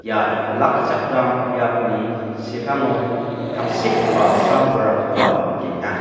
ia olakkichakram biapni sepango tangsekgipa sam-bolrangkoba nikenga.